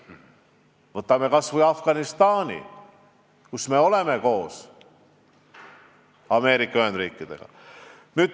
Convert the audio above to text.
Võtame kas või Afganistani, kus me tegutseme koos Ameerika Ühendriikidega.